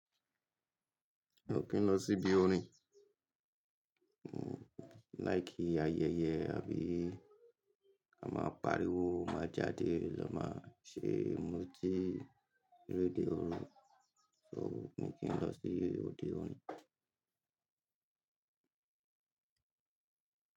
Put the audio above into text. Mi o kí n lọ síbí òrin. Mo like ayẹyẹ àbí a máa pariwo, máa jáde lọ máa ṣe mutí, réde oru. So mi kín lọ sí òde òrin.